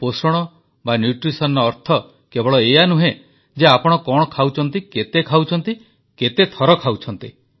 ପୋଷଣର ଅର୍ଥ କେବଳ ଏଇଆ ନୁହେଁ ଯେ ଆପଣ କଣ ଖାଉଛନ୍ତି କେତେ ଖାଉଛନ୍ତି କେତେଥର ଖାଉଛନ୍ତି